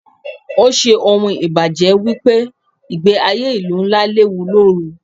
Ó ṣe ohun ìbanuje wípé ìgbẹ́ ayé ìlú ńlá léwu lóru.